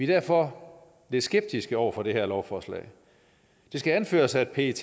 derfor lidt skeptiske over for det her lovforslag det skal anføres at pet